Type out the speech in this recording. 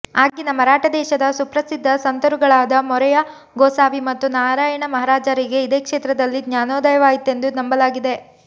ಆಗಿನ ಮರಾಠ ದೇಶದ ಸುಪ್ರಸಿದ್ದ ಸಂತರುಗಳಾದ ಮೊರೆಯ ಗೋಸಾವಿ ಮತ್ತು ನಾರಾಯಣ ಮಹಾರಾಜರಿಗೆ ಇದೇ ಕ್ಷೇತ್ರದಲ್ಲಿ ಜ್ನಾನೋದಯವಾಯಿತೆಂದು ನಂಬಲಾಗಿದೆ